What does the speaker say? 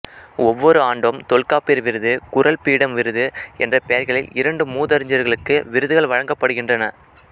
ஒவ்வொரு ஆண்டும் தொல்காப்பியர் விருது குறள் பீடம் விருது என்ற பெயர்களில் இரண்டு மூதறிஞர்களுக்கு விருதுகள் வழங்கப்படுகின்றன